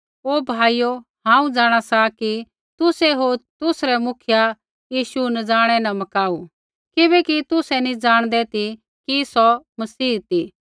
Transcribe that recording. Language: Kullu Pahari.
हे भाइयो हांऊँ जाँणा सा कि तुसै होर तुसरै मुखिया यीशु अनजानै न मकाऊ किबैकि तुसै नैंई ज़ाणदै ती कि सौ मसीहा ती